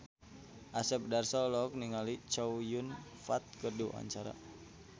Asep Darso olohok ningali Chow Yun Fat keur diwawancara